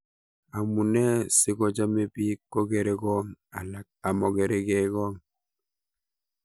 Amunee sigochomee biik kokergong' alak akomokeregee gong'